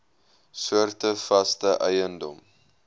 soorte vaste eiendom